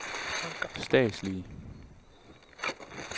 statslige